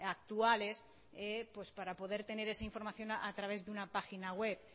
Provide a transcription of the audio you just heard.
actuales para poder tener esa información a través de una página web